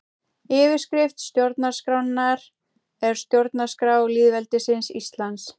Yfirskrift stjórnarskrárinnar er Stjórnarskrá lýðveldisins Íslands.